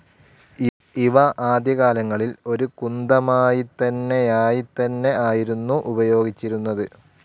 ഇവ ആദ്യകാലങ്ങളിൽ ഒരു കുന്തമായിത്തന്നെയായിതന്നെ ആയിരുന്നു ഉപയോഗിച്ചിരുന്നത്.